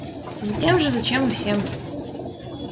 затем же зачем и всем